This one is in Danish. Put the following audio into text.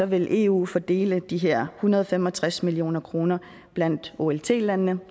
vil eu fordele de her hundrede og fem og tres million kroner blandt olt landene og